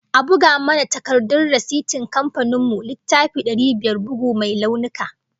A buga mana takardar rasitin kamfanin mu, littafi dari biyar, bugu mai launuka